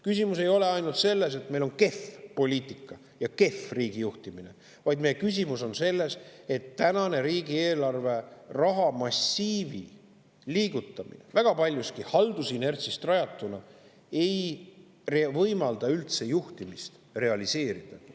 Küsimus ei ole ainult selles, et meil on kehv poliitika ja kehv riigijuhtimine, vaid küsimus on selles, et praeguse riigieelarve rahamassiivi liigutamine – väga paljuski haldusinertsist – ei võimalda üldse juhtimist realiseerida.